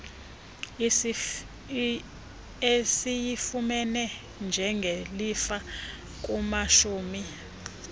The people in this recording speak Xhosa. esiyifumene njengelifa kumashumi